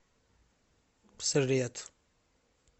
след